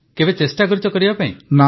ହଁ କେବେ ଚେଷ୍ଟା କରିଛ କରିବାକୁ